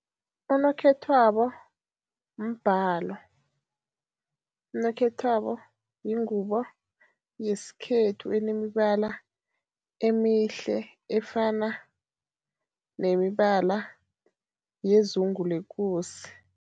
Unokhethwabo mbhalo, unokhethwabo yingubo yesikhethu enemibala emihle efana nemibala yezungu lekosi.